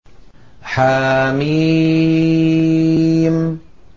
حم